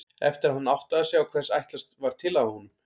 Eftir að hann áttaði sig á hvers ætlast var til af honum.